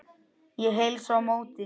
Ég heilsa á móti.